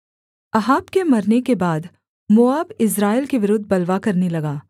Ahab के मरने के बाद मोआब इस्राएल के विरुद्ध बलवा करने लगा